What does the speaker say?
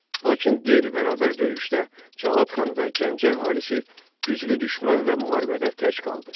Lakin qeyri-bərabər döyüşdə Cavad xan və Gəncə əhalisi güclü düşmənlə müharibədə tək qaldı.